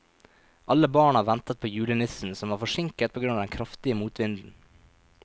Alle barna ventet på julenissen, som var forsinket på grunn av den kraftige motvinden.